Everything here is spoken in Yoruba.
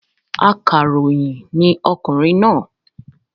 Akàròyìn ní okùnrin náà